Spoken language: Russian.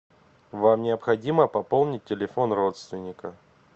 вам необходимо пополнить телефон родственника